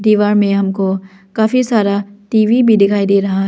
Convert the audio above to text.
दीवार में हमको काफी सारा टी_वी भी दिखाई दे रहा--